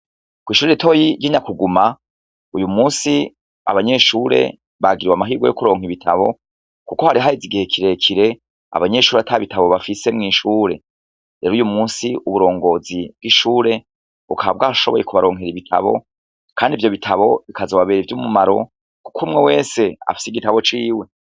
Kwishure ritoyi ry'Inyakuguma ,uyumusi abanyeshure bagiriwe amahigwe yo kuronka ibitabo kuko hari haheze igihe kirekire abanyeshure atabitabo bafise mw'ishure. Rero uyumusi uburongozi bw'ishure bukaba bwashoboye kubaronkera ibitabo kandi ivyo bitabo bikazobabera ivyumumaro, kuk'umwe wese afise igitabo ciwe .